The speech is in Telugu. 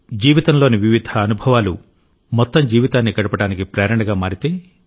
జీవితంలోని వివిధ అనుభవాలు మొత్తం జీవితాన్ని గడపడానికి ప్రేరణగా మారితే